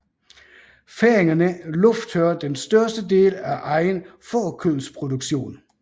Færingerne lufttørrer den største del af egen fårekødsproduktion